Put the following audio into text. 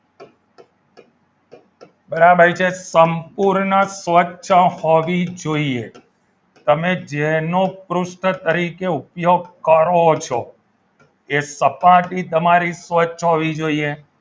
બરાબર છે સંપૂર્ણ સ્પષ્ટ હોવી જોઈએ તમે જેનો પૃષ્ઠ તરીકે ઉપયોગ કરો છો એ સપાટી તમારી સ્વચ્છ હોવી જોઈએ.